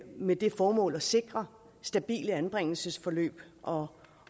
med det formål at sikre stabile anbringelsesforløb og